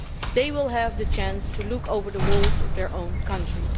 They will have the chance to look over the walls of their own country.